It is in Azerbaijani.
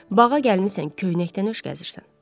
Bağa gəlmisən, köynəkdən öş gəzirsən.